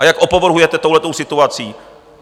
A jak opovrhujete touhle situací!